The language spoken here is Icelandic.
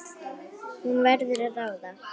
Hún verður að ráða.